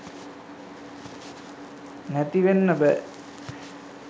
නැති වෙන්න බෑ.